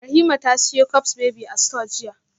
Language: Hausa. Rahima ta siyo cups baby a store jiya